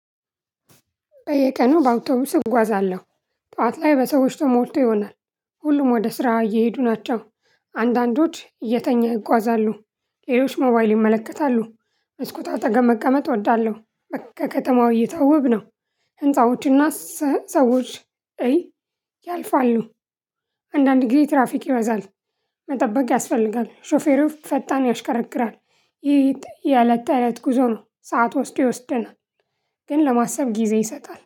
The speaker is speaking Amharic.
በየቀኑ በአውቶቡስ እጓዛለሁ ጠዋት ላይ በሰዎች ተሞልቶ ይሆናል። ሁሉም ወደ ስራ እየሄዱ ናቸው አንዳንዶች እየተኛ ይጓዛሉ ሌሎች ሞባይል ይመለከታሉ። መስኮት አጠገብ መቀመጥ እወዳለሁ በቃ ከተማው እይታ ውብ ነው። ህንፃዎችና ሰዎች እይ ያልፋሉ። አንዳንድ ጊዜ ትራፊክ ይበዛል። መጠበቅ ያስፈልጋል ሾፌሩ ፈጣን ያሽከረክራል ይህ የእለት ተእለት ጉዞ ነው ሰዓት ወስዶ ይወስደናል። ግን ለማሰብ ጊዜ ይሰጣል